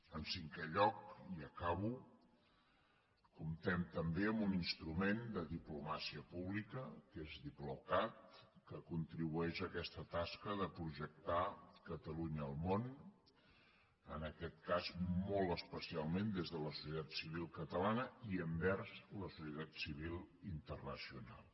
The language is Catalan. en cinquè lloc i acabo comptem també amb un instrument de diplomàcia pública que és diplocat que contribueix a aquesta tasca de projectar catalunya al món en aquest cas molt especialment des de la societat civil catalana i envers la societat civil internacional